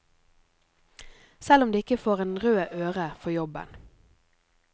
Selv om de ikke får en rød øre for jobben.